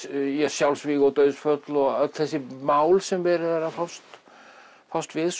sjálfsvíg og dauðsföll og öll þessi mál sem verið er að fást fást við